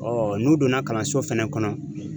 n'u donna kalanso fɛnɛ kɔnɔ.